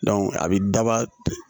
a bɛ daba